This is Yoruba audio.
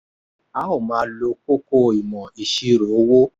a óò máa lo kókó ìmọ̀ ìṣirò owó.